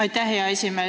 Aitäh, hea esimees!